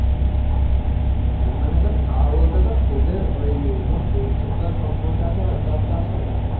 মানে ধর খাবার বলতে ধর তোদের ওই ধর সর্ষে তো আর সব সময় চা~ চাষ হয় না.